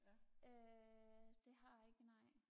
øh det har jeg ikke nej